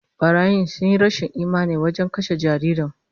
Barayin sun nuna rashin imani wajen kashe jaririn